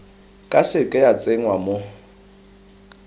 ka seke ya tsenngwa mo